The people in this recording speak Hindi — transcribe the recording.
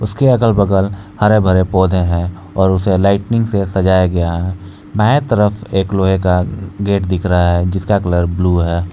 उसके अगल बगल हरे भरे पौधे है और उसे लाइटिंग से सजाया गया है बाएँ तरफ़ एक लोहे का गेट दिख रहा है जिसका कलर ब्लू है।